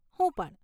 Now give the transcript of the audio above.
હું પણ.